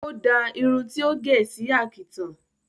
O dáa irun ti ó gẹ̀ sí àkìtàn